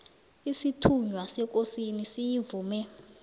isithunywa sekosini siyivume